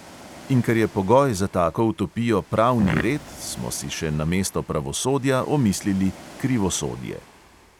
In ker je pogoj za tako utopijo pravni red, smo si še namesto pravosodja omislili krivosodje.